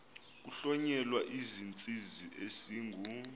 kuhlonyelwa isizinzisi esingu